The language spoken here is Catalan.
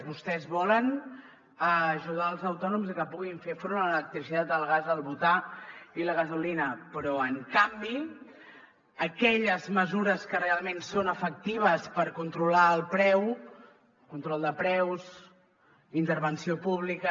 vostès volen ajudar els autònoms a que puguin fer front a l’electricitat al gas al butà i la gasolina però en canvi aquelles mesures que realment són efectives per controlar el preu control de preus intervenció pública